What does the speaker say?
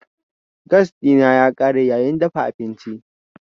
Gas dina ya kare yayin dafa abinci.